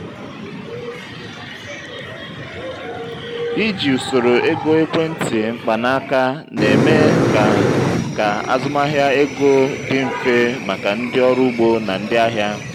iji usoro ego ekwentị mkpanaaka na-eme ka ka azụmahịa ego dị mfe maka ndị ọrụ ugbo na ndị ahịa.